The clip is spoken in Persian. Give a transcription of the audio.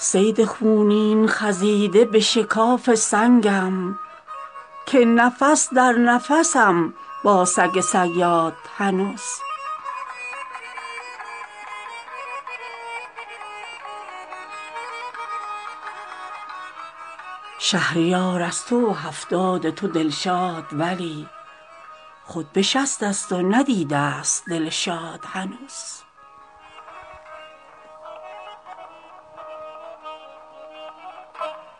گر به دادم رسی و حال حزینم پرسی بخت با من به همان شیوه بیداد هنوز صید خونین خزیده به شکاف سنگم که نفس درنفسم با سگ صیاد هنوز جوی شیرم نه بس آن چشمه طبع شیرین بیستونم من و غم تیشه فرهاد هنوز تو به هفتادی و طبع هنرآرای ترا با عروسان دری حجله داماد هنوز شهریار از تو و هفتاد تو دلشاد ولی خود به شصت است و ندیده است دل شاد هنوز